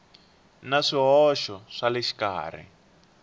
na swihoxo swa le xikarhi